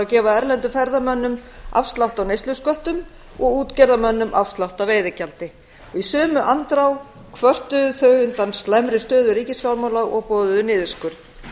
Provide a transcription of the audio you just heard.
gefa erlendum ferðamönnum afslátt á neyslusköttum og útgerðarmönnum afslátt af veiðigjaldi í sömu andrá kvörtuðu þau undan slæmri stöðu ríkisfjármála og boðuðu niðurskurð